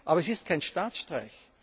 Aber es ist kein Staatsstreich.